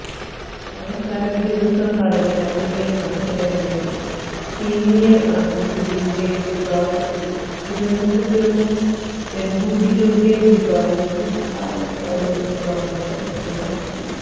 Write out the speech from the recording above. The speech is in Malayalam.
അവസാനദിനം നടന്ന റിലേ മത്സരങ്ങളിൽ സീനിയർ ആൺകുട്ടികളുടെ വിഭാഗത്തിൽ തിരുവനന്തപുരവും പെൺകുട്ടികളുടെ വിഭാഗത്തിൽ പാലക്കാടും സ്വർണം കരസ്ഥമാക്കി